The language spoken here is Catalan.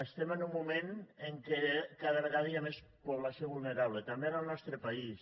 estem en un moment en què cada vegada hi ha més població vulnerable també en el nostre país